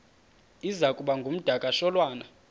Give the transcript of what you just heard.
iza kuba ngumdakasholwana